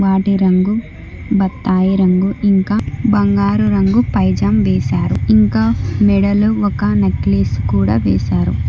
వాటి రంగు బత్తాయి రంగు ఇంకా బంగారు రంగు పైజామ్ వేశారు ఇంకా మెడలో ఒక నక్లెస్ కూడా వేశారు.